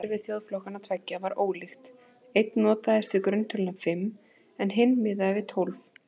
Talnakerfi þjóðflokkanna tveggja var ólíkt, einn notaðist við grunntöluna fimm en hinn miðaði við tólf.